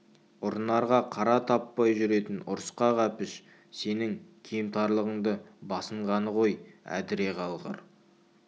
ұрынарға қара таппай жүретін ұрысқақ әпіш сенің кемтарлығыңды басынғаны ғой әдіре қалғыр